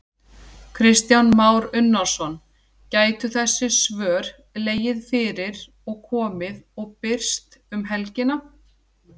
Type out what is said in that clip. Kristján Már Unnarsson: Gætu þessi svör legið fyrir og komið og birst um helgina?